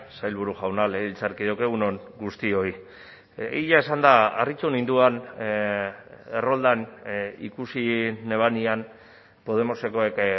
sailburu jauna legebiltzarkideok egun on guztioi egia esanda harritu ninduen erroldan ikusi nebanean podemosekoek